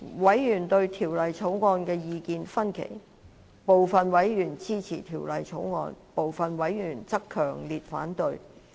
委員對《條例草案》意見分歧，部分委員支持《條例草案》，部分委員則強烈反對。